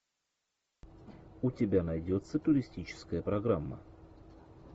у тебя найдется туристическая программа